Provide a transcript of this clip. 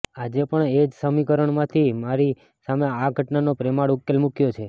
આજે પણ એ જ સમીકરણથી મેં તારી સામે આ ઘટનાનો પ્રેમાળ ઉકેલ મૂક્યો છે